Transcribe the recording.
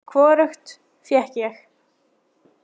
Hvorugt fékk ég.